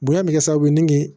Bonya bɛ kɛ sababu ye ni